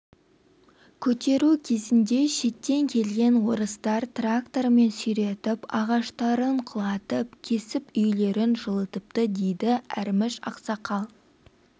көтеру кезінде шеттен келген орыстар трактормен сүйретіп ағаштарын құлатып кесіп үйлерін жылытыпты дейді әрміш ақсақал